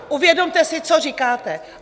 Uvědomte si, co říkáte.